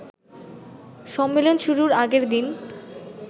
সম্মেলন শুরুর আগের দিন